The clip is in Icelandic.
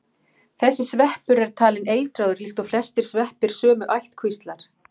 þessi sveppur er talinn eitraður líkt og flestir sveppir sömu ættkvíslar